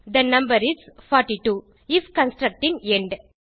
they number is 42 IF construct ன் end